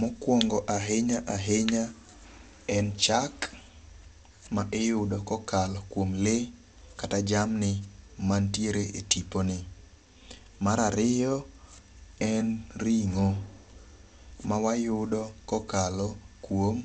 Mokwongo ahinya ahinya en chak ma iyudo kokalo kuom lee kata jamni mantiere e tipo ni. Mar ariyo, en ring'o. Ma wayudo kokalo kuom